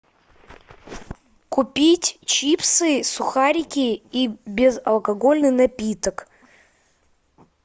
купить чипсы сухарики и безалкогольный напиток